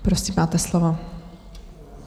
Prosím, máte slovo.